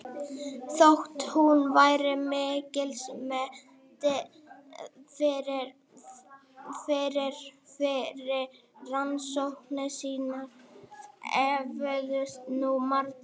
Þótt hún væri mikils metin fyrir fyrri rannsóknir sínar efuðust nú margir.